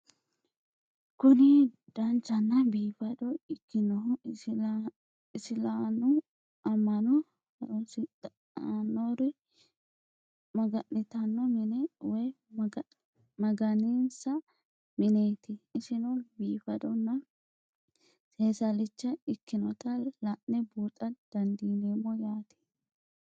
Kuni danchana biifado ikinohu isilaanu ama'no harunsitanori magani'tano mine woyi maganinsa mineti isino bifadona seesalicha ikinota la'ne buuxa dandinemo yaate?